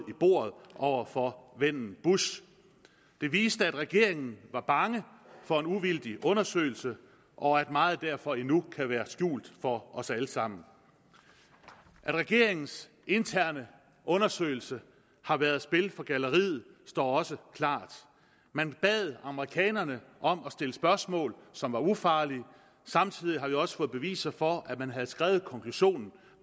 bordet over for vennen bush det viste at regeringen var bange for en uvildig undersøgelse og at meget derfor endnu kan være skjult for os alle sammen at regeringens interne undersøgelse har været spil for galleriet står også klart man bad amerikanerne om at stille spørgsmål som var ufarlige og samtidig har vi også fået beviser for at man havde skrevet konklusionen